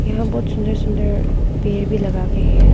यहां बहुत सुन्दर सुंदर पेड़ भी लगाके है।